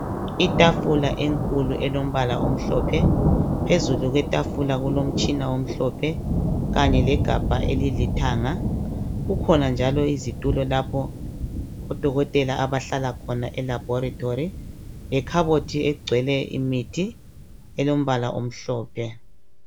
Itafula enkulu elombala omhlophe phezulu kwetafula kulomtshina omhlophe kanye legabha elilombala olithanga. Kukhona njalo izitulo lapho odokotela abahlala khona lapho elaboratory. Lekhabothi egcwele imithi elombala omhlophe.